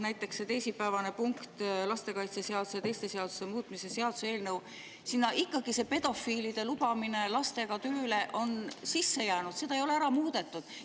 Näiteks see teisipäevane punkt, lastekaitseseaduse ja teiste seaduste muutmise seaduse eelnõu: sinna on ikkagi sisse jäänud pedofiilide lubamine lastega tööle, seda ei ole ära muudetud.